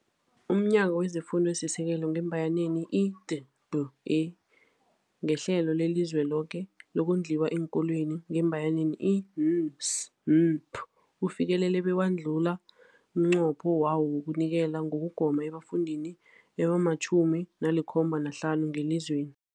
UmNyango wezeFundo esiSekelo, i-D B E, ngeHlelo leliZweloke lokoNdliwa eenKolweni, i-N S N P, ufikelele bewadlula umnqopho wawo wokunikela ngokugoma ebafundini abama-75 ngelizweni.